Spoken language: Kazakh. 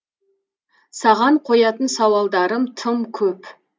саған қоятын сауалдарым тым көп